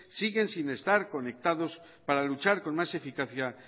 siguen sin estar conectados para luchar con más eficacia